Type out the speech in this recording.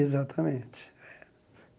Exatamente.